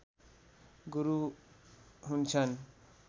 गुरू हुन्छन्